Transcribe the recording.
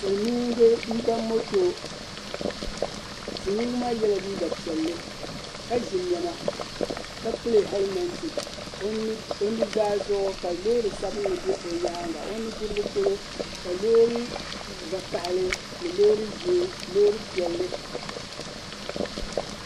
Silimiinga m-ba moto. Silimiinga maa yɛla piɛlli ka ʒi nɛma ka pili hɛlimɛnti. O nuzaa zuɣu ka loori sabilinli be o nyaaŋga o nudirigu polo ka loori vakahili ni loori ʒee loori piɛlli.